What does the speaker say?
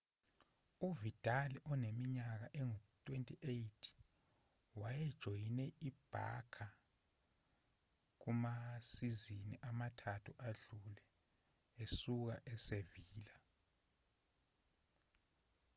uvidal oneminyaka engu-28 wayejoyine i-barça kumasizini amathathu adlule esuka e-sevilla